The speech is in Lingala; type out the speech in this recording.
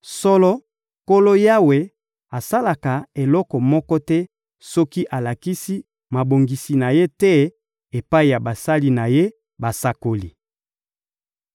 Solo, Nkolo Yawe asalaka eloko moko te soki alakisi mabongisi na Ye te epai ya basali na Ye, basakoli.